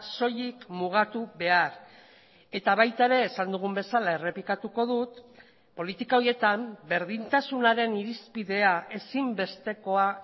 soilik mugatu behar eta baita ere esan dugun bezala errepikatuko dut politika horietan berdintasunaren irizpidea ezinbestekoa